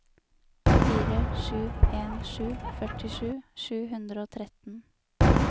fire sju en sju førtisju sju hundre og tretten